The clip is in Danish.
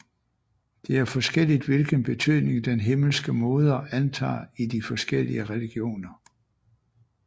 Det er forskelligt hvilken betydning den himmelske moder antager i de forskellige religioner